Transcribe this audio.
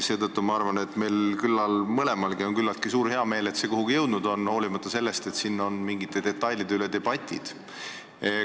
Seetõttu ma arvan, et meil mõlemal on küllalt hea meel, et see kuhugi jõudnud on, hoolimata sellest, et mingite detailide üle on debatid käinud.